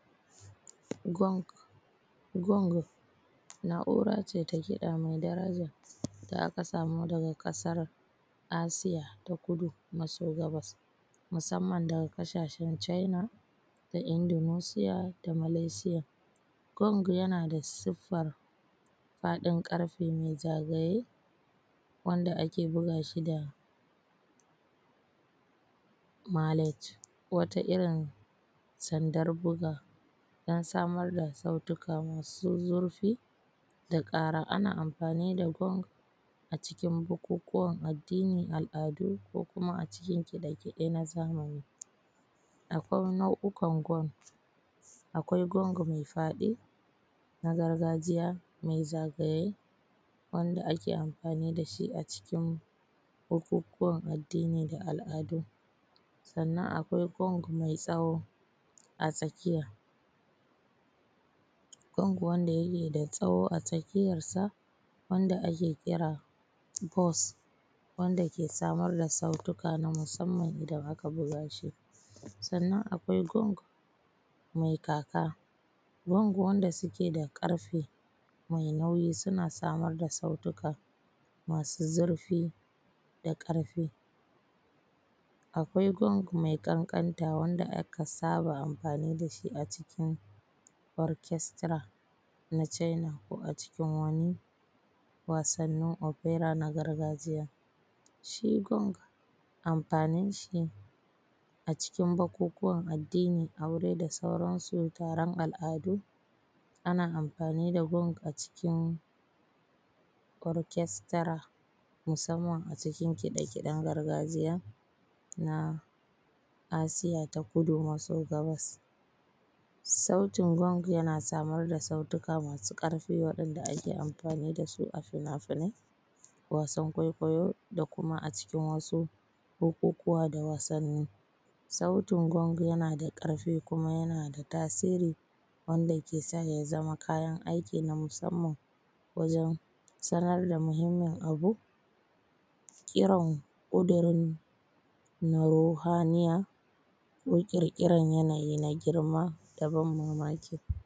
Gwonk, gwong na’ura ce ta kiɗa mai daraja, da aka samo daga ƙasar Asia ta kudu maso gabas, musamman daga ƙasashen China da Indonesia da Malaysia. Gwonk yana da siffar faɗin ƙarfe mai zagaye, wanda ake buga shi da malech, wata irin sandar buga samar da sautuka masu zurfi da ƙara. Ana amfani da gwonk a cikin bukukuwan addini, al’adu ko kuma a cikin kiɗe-kiɗe na zamani, akwai nau’uka gwonk, akwai gwonk mai faɗi na gargajiya mai zagaye, wanda ake amfani da shi a cikin bukukuwan addini da al’adu, sannan akwai gwonk mai tsawo a tsakiya, gwonk wanda yake da tsawo a tsakiyarsa wanda ake kira hoss, wanda ke samar da sautuka na musamman idan aka buga shi, sannan akwai gwonk mai kaka, gwonk wanda suke da ƙarfe mai nauyi suna samar da sautuka masu zurfi da ƙarfi, akwai gwonk mai ƙanƙanta wanda aka saba amfani dashi acikin orchestra na China ko a cikin wani wasannin opera na gargajiya. Shi gwonk amfanin shi a cikin bukukuwan addini, aure da sauran su, taron al’adu, ana amfani da gwonk a cikin orchestra, musamman acikin kiɗe-kiɗen gargajiya na Asia ta kudu maso gabas. Sautin gwonk yana samar da sautuka masu ƙarfi waɗanda ake amfani dasu a finafinai, wasan kwaikwayo da kuma a cikin wasu bukukuwa da wasanni. Sautin gwonk yana da ƙarfi kuma yana da tasiri, wanda ke say a zama kayan aiki na musamman wajen sanar da muhimmin abu, kiran kudirin ruhaniya ko ƙirƙirar yanayi na girma.